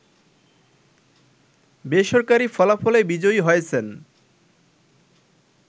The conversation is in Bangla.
বেসরকারি ফলাফলে বিজয়ী হয়েছেন